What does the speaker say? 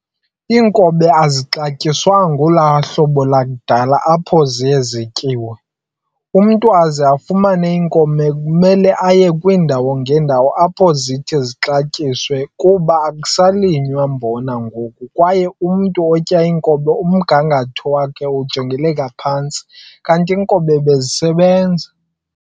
inkobe azixantyiswanga olahlobo lakuqala apho ziye zityiwe. umntu aze afumane inkobe kumele aye kwindawo ngendawo apho zithi zixatyiswe kuba akusalinywa mbona ngoku kwaye umntu otya inkobe umngangatho wakhe ujongeleleka phantsi kanti inkobe zisebenza